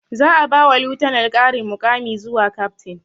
Za a ba wa lieutenant ƙarin muƙami zuwa captain